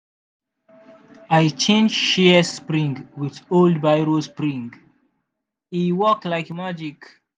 i change shears spring with old biro spring e work like magic.